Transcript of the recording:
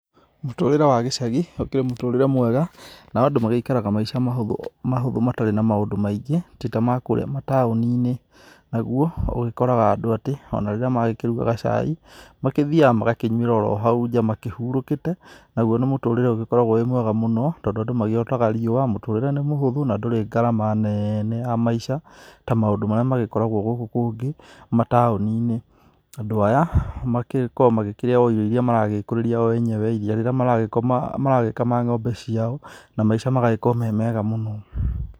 Mũtũrĩre wa gĩcagi ũkĩrĩ mũtũrĩre mwega, nao andũ maikaraga maica mahũthũ matarĩ na maũndu maingĩ, ti ta makũũrĩa mataoni-inĩ, naguo ũgĩkoraga andũ atĩ ona rĩrĩa marakĩruga gacai makĩthiaga magakĩnyuĩra o hau nja makĩhurũkite, naguo nĩ mũtũrĩre ugĩkoragwo wĩ mwega mũno, tondũ andũ magĩotaga riũa , mũtũrĩre nĩ muhũthũ na ndũrĩ ngarama nene ya maica ta maũndũ marĩa magĩkoragwo gũkũ kũngĩ mataoni-inĩ. Andũ aya makĩkoo magĩkĩrĩa irio iria o maragĩkũrĩria o enyewe iria rĩrĩa maragĩkoma maragĩkama ng'ombe ciao, na maica magagikorwo me mega mũno.